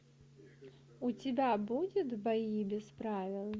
у тебя будет бои без правил